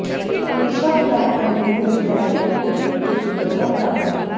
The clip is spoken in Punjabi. ਅਲੀਸ਼ਾ ਗਵੈਨ ਅੰਦਰੂਨੀ ਡਿਜ਼ਾਈਨ ਤੋਂ ਕਿੰਨਾ ਕੁ ਸੁੰਦਰ ਕਮਰਾ